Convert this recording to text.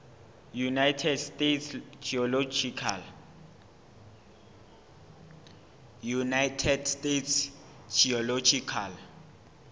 united states geological